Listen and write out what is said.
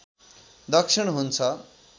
दक्षिण हुन्छ